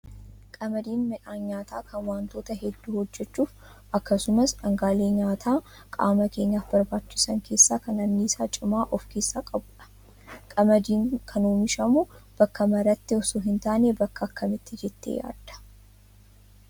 Qamadiin midhaan nyaataa kan wantoota hedduu hojjachuuf akkasumas dhangaalee nyaataa qaama keenyaaf barbaachisan keessaa kan anniisaa cimaa of keessaa qabudha. Qamadiin kan oomishamu bakka maraatti osoo hin taane bakka akkamiiti jettee yaaddaa?